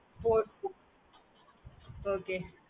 okay mam